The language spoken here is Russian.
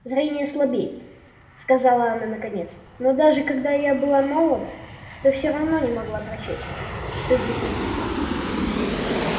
зрение слабеет сказала она наконец но даже когда я была молода то все равно не могла прочесть что здесь написано